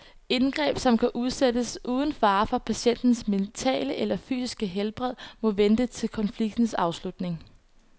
Indgreb, som kan udsættes uden fare for patientens mentale eller fysiske helbred, må vente til konfliktens afslutning.